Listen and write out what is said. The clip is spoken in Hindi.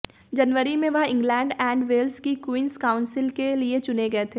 जनवरी में वह इंग्लैंड एंड वेल्स की क्वींस काउंसिल के लिए चुने गए थे